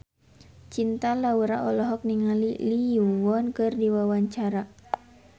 Cinta Laura olohok ningali Lee Yo Won keur diwawancara